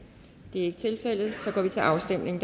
det er ikke tilfældet så går vi til afstemning